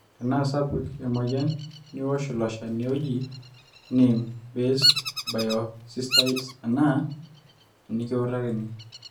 tenaasapuk emweyian niosh ilo shani oji neem based biosesticides enaa enikiutakini